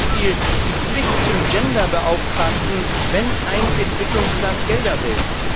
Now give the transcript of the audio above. Bestes Beispiel ist die Pflicht zum Gender Beauftragten, wenn ein Entwicklungsland Gelder will.